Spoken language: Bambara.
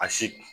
A si